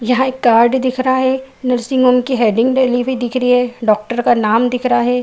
यहाँ एक कार्ड दिख रहा है। नर्सिंग होम की हैडिंग डली हुई दिख रही है। डॉक्टर का नाम दिख रहा है।